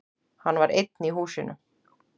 Hann var einn í húsinu.